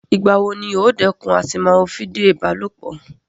Ìgbà wo ni óò dẹ́kun àti máa wo fídíò ìbálòpọ̀?